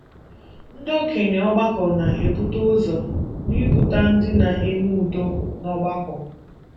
Ndị okenye ọgbakọ na - ebute ụzọ n’ịbụ ndị na - eme udo n’ọgbakọ.